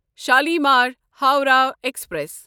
Shalimar Howrah express